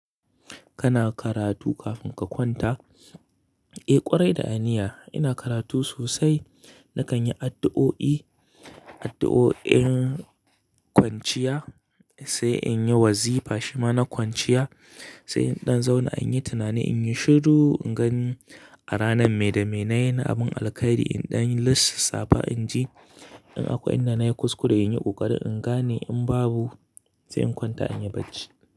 Kana karatu kafin ka kwanta? Eh ƙwarai da aniya ina karatu sosai. Nakan yi addu'o'i, addu'o'in kwanciya sai in yi wazifa shima na kwanciya, sai in ɗan zauna in yi tunani, in yi shiru, in gani a ranar mai da me na yi na amon alkhairi, in ɗan lissafa inji in akwai inda na yi kuskure in yi ƙoƙari in gane in babu sai in kwanta in yi bacci.